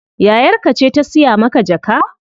Yayar ka ce ta siya maka jaka?